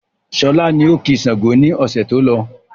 Sọlá ni ó ki Sángo ni ọ̀sẹ̀ tó lọ.